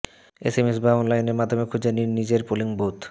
SMS বা অনলাইনের মাধ্যমে খুঁজে নিন নিজের পোলিং বুথ